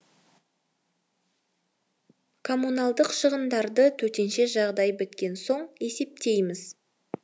коммуналдық шығындарды төтенше жағдай біткен соң есептейміз